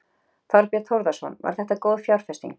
Þorbjörn Þórðarson: Var þetta góð fjárfesting?